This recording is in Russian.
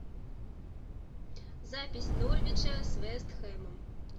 запись норвича с вест хэмом